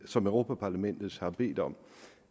som europa parlamentet har bedt om